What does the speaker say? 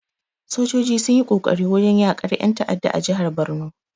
Sojoji sun yi kokari wurin yaƙan ƴan ta'adda a jihar barno